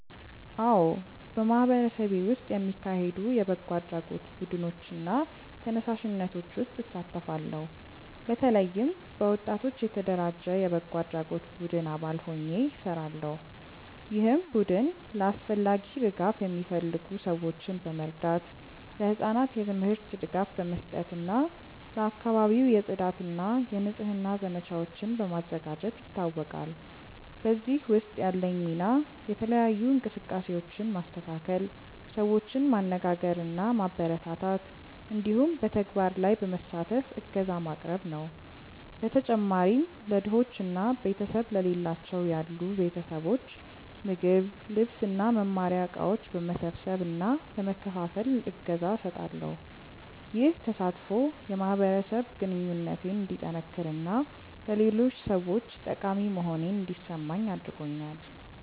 አዎ፣ በማህበረሰቤ ውስጥ የሚካሄዱ የበጎ አድራጎት ቡድኖች እና ተነሳሽነቶች ውስጥ እሳተፋለሁ። በተለይም በወጣቶች የተደራጀ የበጎ አድራጎት ቡድን አባል ሆኜ እሰራለሁ፣ ይህም ቡድን ለአስፈላጊ ድጋፍ የሚፈልጉ ሰዎችን በመርዳት፣ ለህጻናት የትምህርት ድጋፍ በመስጠት እና ለአካባቢው የጽዳት እና የንጽህና ዘመቻዎችን በማዘጋጀት ይታወቃል። በዚህ ውስጥ ያለኝ ሚና የተለያዩ እንቅስቃሴዎችን ማስተካከል፣ ሰዎችን ማነጋገር እና ማበረታታት እንዲሁም በተግባር ላይ በመሳተፍ እገዛ ማቅረብ ነው። በተጨማሪም ለድሆች እና ቤተሰብ ለሌላቸው ያሉ ቤተሰቦች ምግብ፣ ልብስ እና መማሪያ እቃዎች በመሰብሰብ እና በመከፋፈል እገዛ እሰጣለሁ። ይህ ተሳትፎ የማህበረሰብ ግንኙነቴን እንዲጠነክር እና ለሌሎች ሰዎች ጠቃሚ መሆኔን እንዲሰማኝ አድርጎኛል።